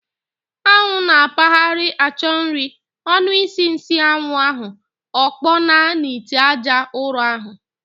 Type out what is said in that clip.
Anwụ n'akpagharị achọ nri, ọnu isi nsịanwu ahu, okponaa n'ite aja ụrọ ahu.